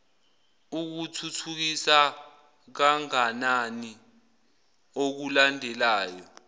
ikuthuthukisa kanganani okulandelayo